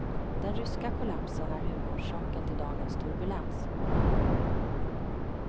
Den ryska kollapsen är huvudorsaken till dagens turbulens.